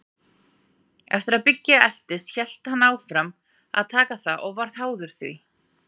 Eftir að Biggi eltist hélt hann áfram að taka það og varð háður því.